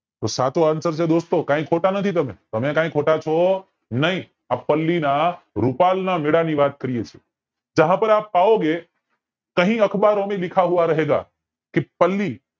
તો સાચો answer છે દોસ્તો ખોટા નથી તમે તમે કે ખોટાછો નય આ પલ્લી ના રૂપાના મેળા ની વાત કરીયે છીએ જહાં પર આપ પાઓંગે કહી અખબારો મેં લિખા હુવા રહેગા કે પલ્લી